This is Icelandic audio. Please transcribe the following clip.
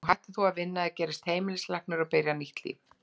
Nú hættir þú að vinna, eða gerist heimilislæknir, og byrjar nýtt líf.